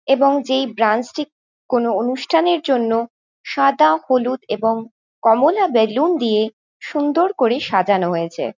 এবং যেই ব্রাঞ্চ টি কোনো অনুষ্ঠানের জন্য সাদা হলুদ এবং কমলা বেলুন দিয়ে সুন্দর করে সাজানো হয়েছে।